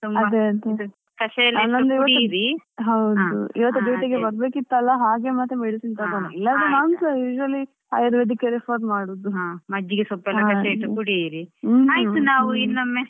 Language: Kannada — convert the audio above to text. ಹೌದು ಇವತ್ತು duty ಗೆ ಬರ್ಬೇಕಿತ್ತಲ್ವಾ ಹಾಗೆ ಮತ್ತೆ medicine ತಕೊಂಡದ್ದು ಇಲ್ಲಾಂದ್ರೆ ನಾನುಸ ಇದ್ರಲ್ಲಿ Ayurvedic ಯೆ refer ಮಾಡುದು.